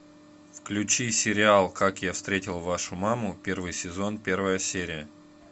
включи сериал как я встретил вашу маму первый сезон первая серия